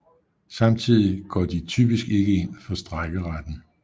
Samtidig går de typisk ikke ind for strejkeretten